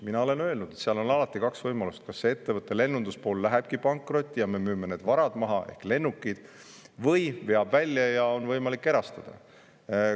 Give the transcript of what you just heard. Mina olen öelnud, et seal on alati kaks võimalust: kas ettevõtte lennunduspool lähebki pankrotti ja me müüme need varad ehk lennukid maha või veab välja ja on võimalik erastada.